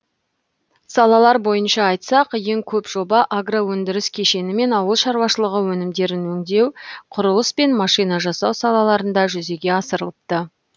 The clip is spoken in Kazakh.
салалар бойынша айтсақ ең көп жоба агроөндіріс кешені мен ауыл шаруашылығы өнімдерін өңдеу құрылыс пен машина жасау салаларында жүзеге асырылыпты